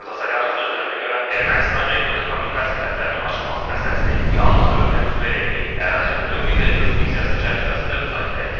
Baqdasaryanın sözlərinə görə, Ermənistan regionda kommunikasiya xətlərinin açılması məsələsini yalnız ölkənin suverenliyi, ərazi bütövlüyü və yurisdiksiyası çərçivəsində müzakirə edir.